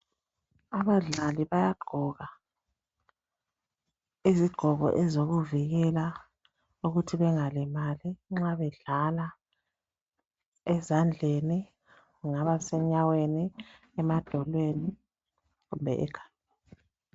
abadlali bayagqoka izigqoko ezokuvikela ukuthi bengalimali nxa bedlala ezandleni kumbe kungaba emadolweni loba ekhanda